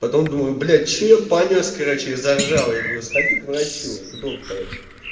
потом думаю блять что я понёс короче заржал я говорю сходи к врачу к доктору